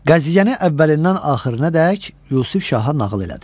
Qəziyyəni əvvəlindən axırınadək Yusif Şaha nağıl elədi.